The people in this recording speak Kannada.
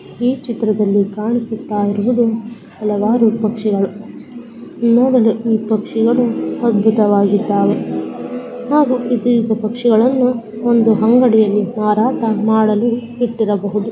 ಈ ಚಿತ್ರದಲ್ಲಿ ಕಾಣಿಸುತ್ತಿರುವುದು ಹಲವಾರು ಪಕ್ಷಿಗಳು ಈ ಪಕ್ಷಿಗಳು. ಅದ್ಬುತವಾಗಿದ್ದವೇ . ಹಾಗು ಈ ಪಕ್ಷಿಗಳನ್ನು ಅಂಗಡಿಯಲ್ಲಿ ಮಾರಾಟ ಮಾಡಲು ಇಟ್ಟಿರಬಹುದು .